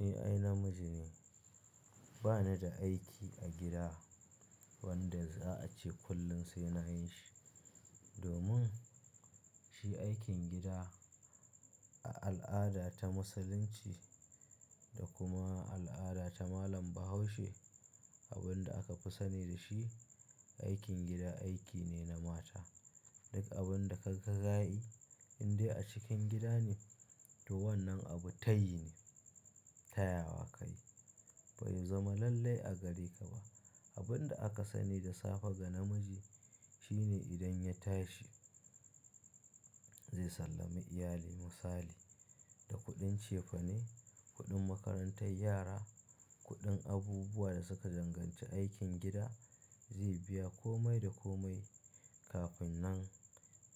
Ni ai namiji ne, ba ni da aiki a gida wanda za a ce kullum sai na yi shi. Domin shi aikin gida a al'ada ta Musulunci da kuma al'ada ta malam Bahaushe, abin da aka fi sani da shi, aikin gida aiki ne na mata. Duk abun da kaga ka yi indai a cikin gida ne, to wannan abu tayi ne, tayawa ka yi. Bai zama lallai a gare ka ba. Abun da aka sani da safe ga namiji shine idan ya tashi zai sallami iyali misali, da kuɗin cefane, kuɗin makarantar yara, kuɗin abubuwa da suka danganci aikin gida, zai biya kome da kome kafin nan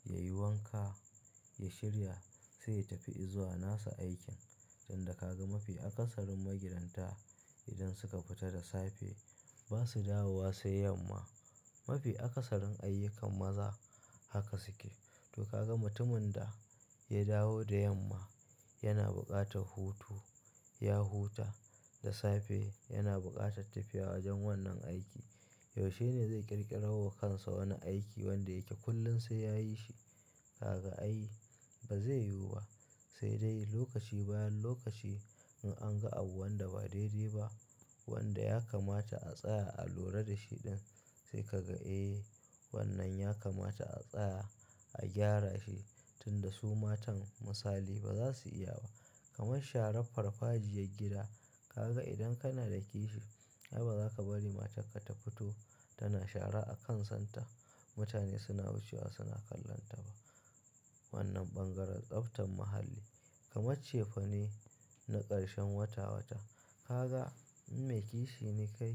ya yi wanka, ya shirya, sai ya tafi izuwa nasa aikin. Tun da ka ga mafi akasarin magidanta idan suka fita da safe ba su dawo wa sai yamma. Mafi akasarin ayyukan maza haka suke. To kaga mutumin da ya dawo da yamma yana buƙatar hutu. Ya huta da safe yana buƙatar tafiya wajen wannan aiki. Yaushe ne zai ƙirƙirawar kansa wani aiki wanda yake kullum sai ya yi shi? Kaga ai ba zai yiwu ba. Sai dai lokaci bayan lokaci in an ga abu wanda ba daidai ba, wanda ya kamata a tsaya a lura da shi ɗin sai kaga eh wannan ya kamata a tsaya a gyara shi tunda su matan misali ba za su iya ba. Kamar sharar farfajiyar gida, kaga idan kana da kishi, ai ba za ka bari matarka ta fito tana shara a kan santa. Mutane suna wucewa suna kallon ta ba. Wannan ɓangaren tsaftan muhalli. Kamar cefane na ƙarshen wata wata, kaga in mai kishi ne kai,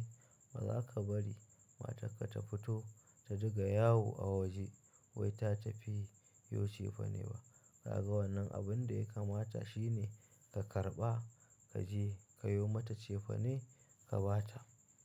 ba za ka bari matarka ta fito ta dinga yawo a waje wai ta tafi yo cefane ba. Kaga wannan abun da ya kamata shi ne ka karɓa, ka je ka yo mata cefane ka ba ta.